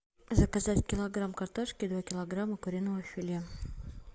заказать килограмм картошки и два килограмма куриного филе